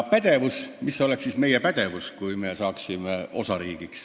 Ja mis oleks siis meie pädevus, kui me osariigiks muutuksime?